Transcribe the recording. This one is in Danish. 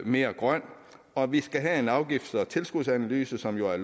mere grøn og vi skal have en afgifts og tilskudsanalyse som jo er